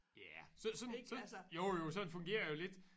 Ja sådan jo jo sådan fungerer det jo lidt